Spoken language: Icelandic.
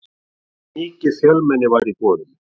Mikið fjölmenni var í boðinu